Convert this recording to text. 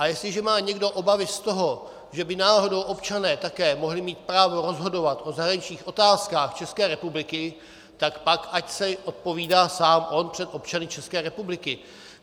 A jestliže má někdo obavy z toho, že by náhodou občané také mohli mít právo rozhodovat o zahraničních otázkách České republiky, tak pak ať si odpovídá sám on před občany České republiky.